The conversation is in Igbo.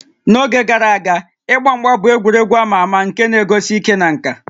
N'oge gara aga, ịgba mgba bụ egwuregwu a ma ama nke na-egosi ike na nka